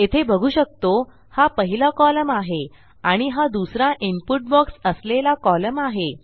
येथे बघू शकतो हा पहिला कॉलम आहे आणि हा दुसरा इनपुट बॉक्स असलेला कॉलम आहे